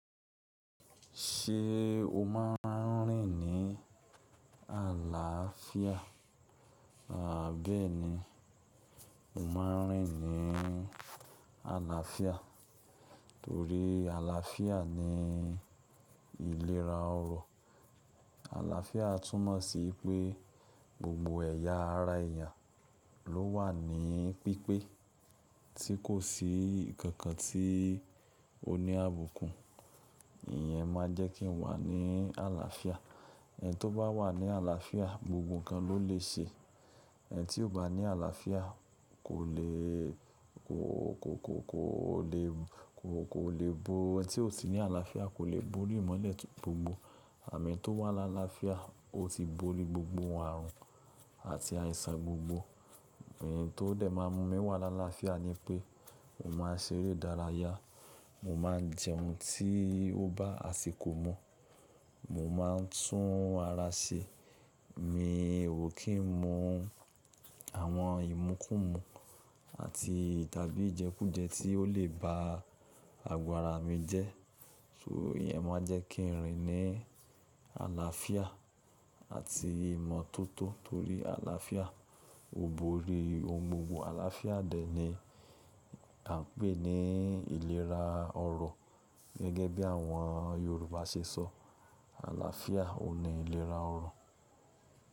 Ṣé o máa ń rìn ní àlàáfíà? À bẹ́ẹ̀ni, mo máa ń rìn ní àlàáfíà torí àlàáfíà ni ìlera ọrọ̀. Àlàáfíà túmò sí pé gbogbo ẹ̀yà ara èèyàn ló wà ní pípé tí kò sí ìkankan tí ó ní àbùkùn. Ìyẹn máa n jẹ́ kí èyàn ma ní àlàáfíà. Ẹni tí ó bá wà ní àlàáfíà gbogbo ǹkan ló lè ṣe. Ẹni tí ò bá ní àlàáfíà kò lè, kò, kò, kò lè, kò, kò lè bó. Ẹni tí ò sí ní àlàáfíà kò lè borí mọ́lẹ̀ gbogbo. Àmọ́ ẹni tó wà lálàáfíà, ó ti bórí gbogbo ààrùn àti àìsàn gbogbo. Ihun tó dẹ̀ má mú mi wà lálàáfíà ni pé mo máa ṣeré dara yá, mo máa jẹun tí ó bá àsìkò mọ́, mo máa tún ara ṣe, mi ò kí ń mú àwọn ìmúkùmù àti tàbí ìjẹkújẹ̀ tí ó lè ba àgó ara mi jẹ́. So ìyẹn máa n jẹ́ kí ń rìn ní àlàáfíà àti ìmọ́tótó torí àlàáfíà ò borí ohun gbogbo. Àlàáfíà dẹ̀ ni à ń pè ní ìlera ọrọ̀. Gẹ́gẹ́ bí àwọn Yorùbá ṣe sọ, “Àlàáfíà òn ní ìlera ọrọ̀”.